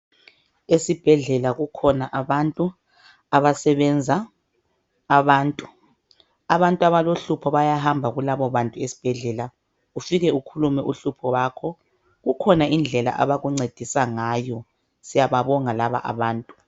Esibhedlela kukhona abantu abasebenza abantu . Abantu abalohlupho bayahamba kulabo bantu esibhedlela ufike ukhulume uhlupho lwakho kukhona indlela abakuncedisa ngayo. Siyababonga laba abantu